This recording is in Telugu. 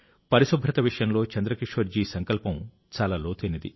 పరిశుభ్రత విషయంలో చంద్రకిషోర్ జీ సంకల్పం చాలా లోతైనది